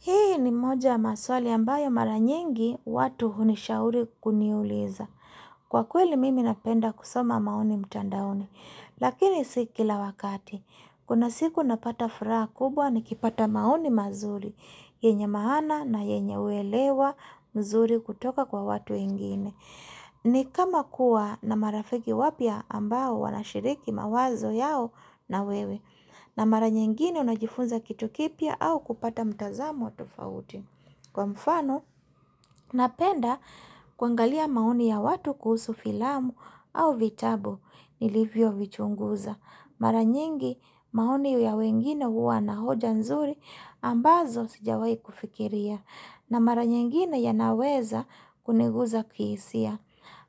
Hii ni moja ya maswali ambayo mara nyingi watu hunishauri kuniuliza. Kwa kweli mimi napenda kusoma maoni mtandaoni. Lakini si kila wakati. Kuna siku napata furaha kubwa nikipata maoni mazuri. Yenye maana na yenye uelewa mzuri kutoka kwa watu wengine. Ni kama kuwa na marafiki wapya ambao wanashiriki mawazo yao na wewe. Na mara nyingine unajifunza kitu kipya au kupata mtazamo wa tofauti Kwa mfano, napenda kuangalia maoni ya watu kuhusu filamu au vitabu nilivyo vichunguza Mara nyingi maoni ya wengine huwa na hoja nzuri ambazo sijawahi kufikiria na mara nyingine yana naweza kuniguza kihisia